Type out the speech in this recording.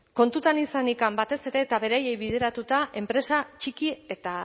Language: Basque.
kontutan izanik batez ere eta beraiei bideratuta enpresa txiki eta